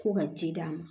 Ko ka ji d'a ma